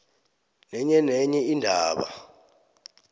nenye nenye indaba